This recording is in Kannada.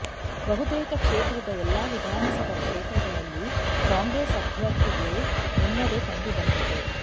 ಬಹುತೇಕ ಕ್ಷೇತ್ರದ ಎಲ್ಲಾ ವಿಧಾನಸಭಾ ಕ್ಷೇತ್ರಗಳಲ್ಲಿ ಕಾಂಗ್ರೆಸ್ ಅಭ್ಯಥರ್ಿಗೆ ಮುನ್ನಡೆ ಕಂಡುಬಂದಿದೆ